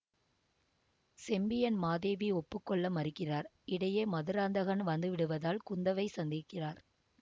செம்பியன் மாதேவி ஒப்பு கொள்ள மறுக்கிறார் இடையே மதுராந்தகன் வந்துவிடுவதால் குந்தவை சந்திக்கிறார்